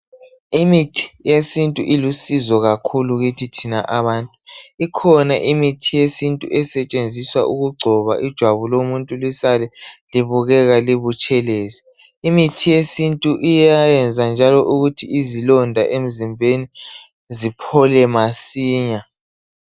Imithi yesintu ilisizo kakhulu kithi thina abantu ikhona imithi yesintu esetshenziswa ukugcoba ijwabu lomuntu lisale libukeka libutshelezi imithi yesintu iyayenza njalo ukuthi izilonda emzimbeni ziphole masinya.